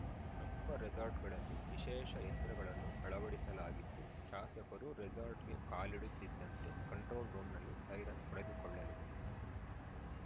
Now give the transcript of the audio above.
ಪ್ರಮುಖ ರೆಸಾರ್ಟ್‌ಗಳಲ್ಲಿ ವಿಶೇಷ ಯಂತ್ರಗಳನ್ನು ಅಳವಡಿಸಲಾಗಿದ್ದು ಶಾಸಕರು ರೆಸಾರ್ಟ್‌ಗೆ ಕಾಲಿಡುತ್ತಿದ್ದಂತೆ ಕಂಟ್ರೋಲ್‌ ರೂಮ್‌ನಲ್ಲಿ ಸೈರನ್‌ ಹೊಡೆದುಕೊಳ್ಳಲಿದೆ